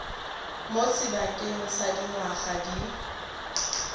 mo sebakeng sa dingwaga di